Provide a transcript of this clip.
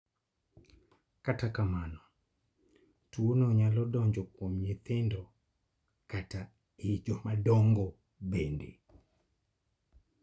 Kata kamano, tuo no nyalo donjo kuom nyithindo kata e jomadongo, bende.